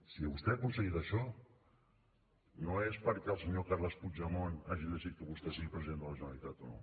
si vostè ha aconseguit això no és perquè el senyor carles puigdemont hagi decidit que vostè sigui president de la generalitat o no